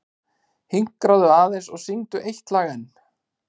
Hinkraðu aðeins og syngdu eitt lag enn.